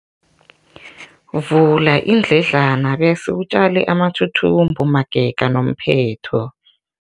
Vula iindledlana bese utjale amathuthumbo magega nomphetho.